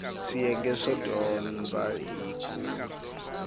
swiyenge swo dyondza hi ku